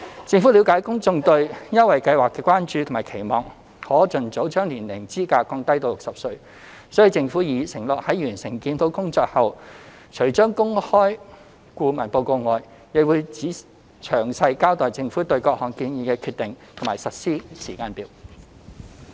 政府了解公眾對優惠計劃的關注和期望可盡早將年齡資格降低至60歲，所以政府已承諾在完成檢討工作後，除公開顧問報告外，亦會詳細交代政府對各項建議的決定和實施時間表。